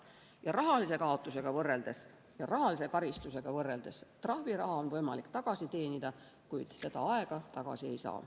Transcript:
Ja rahalise kaotuse ja rahalise karistusega võrreldes: trahviraha on võimalik tagasi teenida, kuid seda aega tagasi ei saa.